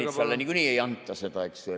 Peeter Ernitsale niikuinii ei anta seda.